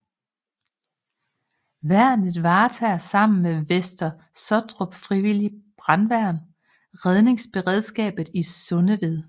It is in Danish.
Værnet varetager sammen med Vester Sottrup Frivillige Brandværn redningsberedskabet i Sundeved